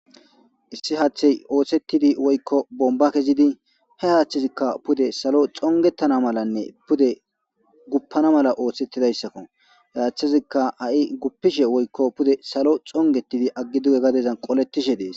Issi haththey oosettidi woykko bomba kezidi he aaththezikka pude salo xongetana malanne pude guppana mala oosettidayssakko yaaththezikka ha7i guppishe woykko pude salo xongetidi aggi duge gadezan qolettishe dees.